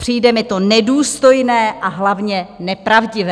Přijde mi to nedůstojné, a hlavně nepravdivé."